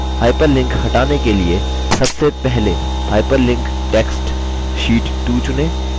hyperlink हटाने के लिए सबसे पहले hyperlinked text sheet 2 चुनें